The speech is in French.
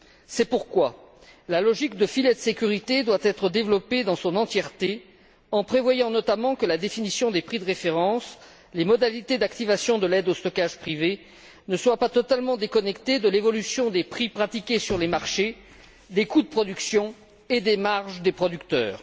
C'est pourquoi la logique de filet de sécurité doit être développée dans son intégralité il convient de prévoir, notamment, que la définition des prix de référence et les modalités d'activation de l'aide au stockage privé ne soient pas totalement déconnectées de l'évolution des prix pratiqués sur les marchés, des coûts de production et des marges des producteurs.